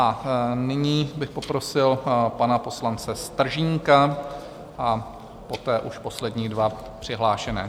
A nyní bych poprosil pana poslance Stržínka a poté už poslední dva přihlášené.